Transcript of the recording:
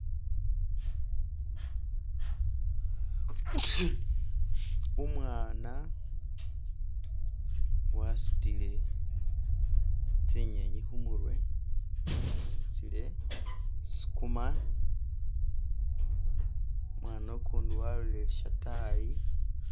Umwana wasutile tsi nyenyi khumurwe asutile sukuma umwana ukundi walolele shatayi